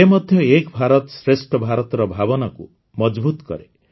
ଏ ମଧ୍ୟ ଏକ୍ ଭାରତ ଶ୍ରେଷ୍ଠ ଭାରତର ଭାବନାକୁ ମଜଭୁତ୍ କରେ